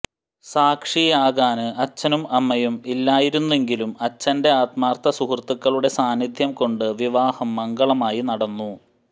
സാക്ഷിയാകാന് അച്ഛനും അമ്മയും ഇല്ലായിരുന്നെങ്കിലും അച്ഛന്റെ ആത്മാര്ത്ഥ സുഹൃത്തുക്കളുടെ സാന്നിധ്യം കൊണ്ട് വിവാഹം മംഗളമായി നടന്നു